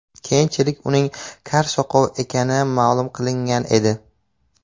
Keyinchalik uning kar-soqov ekani ma’lum qilingan edi.